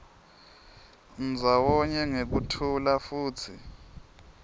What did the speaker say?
ndzawonye ngekuthula futsi